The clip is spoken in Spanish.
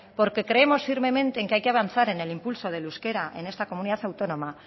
porque creemos firmemente en que hay avanzar en el impulso del euskera en esta comunidad autónoma